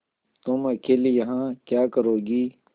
तुम अकेली यहाँ क्या करोगी